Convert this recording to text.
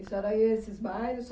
E a senhora ia a esses bailes?